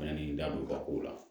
Yanni n da don ka kow la